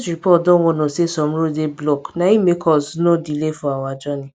news report don warn us say some roads dey blocked na im make us nor delay for our journey